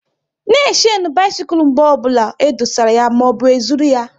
Na e shenu bisikul mgbe ọbụla e dosara ya maọbụ e zụrụ ya!